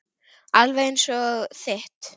Alveg eins og þitt.